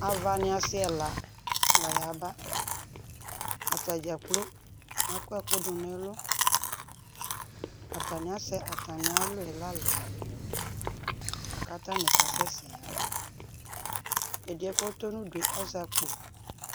Avani asi ɛla layaba, atadzaa plo akɔ ɛkʋ dʋ n'ɛlʋ Atani asɛ atami alɔ yɛ la lɛ k'atani kasɛsɛ yaba Ɛdiɛ k'ɔtɔ nudu yɛ azɛ akpo